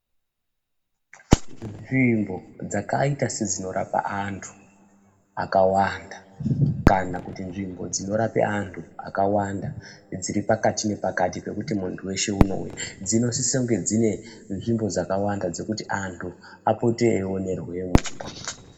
nzvimbo zvakaita sedzvinorapa antu akawanda kana kuti nzvimbo zvinorapa antu akawanda dziri pakati nepakati pekuti muntu weshe unouya dzinosisa kunge dzine nzvimbo dzakawanda dzekuti antu apote eimboonerwemo